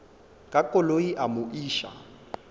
ka koloi a mo iša